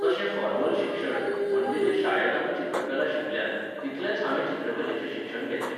तशें फॉर्मल शिक्षण, म्हणजे जें शाळेंत आमी चित्रकला शिकल्यांत, तितलेंच हांवें चित्रकलेचें शिक्षण घेतलें.